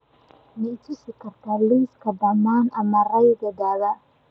ma i tusi kartaa liiska dhammaan amarradaydii dhawaa